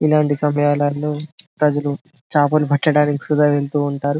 ఇలాంటి సమయాలలో ప్రజలు చేపలు పట్టడానికి సధ వెళ్తూ ఉంటారు.